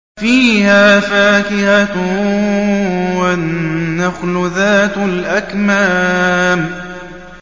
فِيهَا فَاكِهَةٌ وَالنَّخْلُ ذَاتُ الْأَكْمَامِ